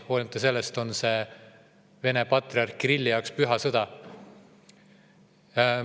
Hoolimata sellest on see Venemaa patriarhi Kirilli jaoks püha sõda.